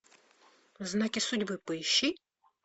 знаки судьбы поищи